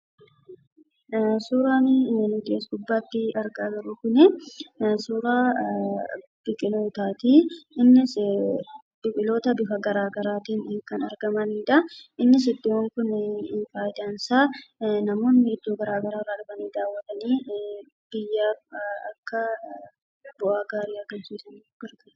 Suuraan as gubbaatti argaa jirru kun suuraa biqila mukaati. Innis biqiloota gosa garaa garaatiin kan argamaniidha. Innis iddoon kun faayidaan isaa, namoonni iddoo garaagaraa irraa dhufanii daawwatanii biyyaaf bu'aa gaarii argamsiisuuf nu gargaara.